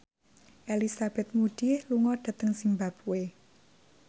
Elizabeth Moody lunga dhateng zimbabwe